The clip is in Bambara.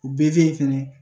U be yen fɛnɛ